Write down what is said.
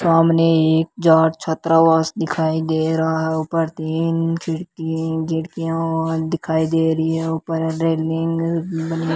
सामने एक जार्ज छात्रावास दिखाई दे रहा है ऊपर तीन खिड़की खिड़कियां दिखाई दे रही हैं ऊपर रेलिंग --